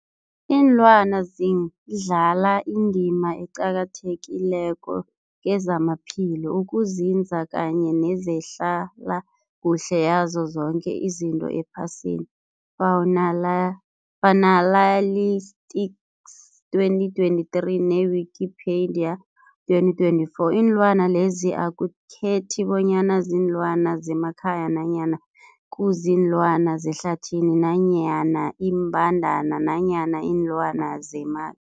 Ilwana zidlala indima eqakathekileko kezamaphilo, ukunzinza kanye nezehlala kuhle yazo zoke izinto ephasini, Faunaly Fuanalytics 2023, ne-Wikipedia 2024. Iinlwana lezi akukhethi bonyana ziinlwana zemakhaya nanyana kuziinlwana zehlathini nanyana iimbandana nanyana iinlwana zema